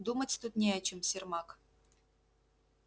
думать тут не о чем сермак